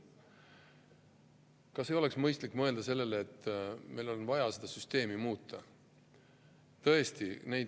Kas ei oleks mõistlik mõelda sellele, et meil on vaja seda süsteemi muuta?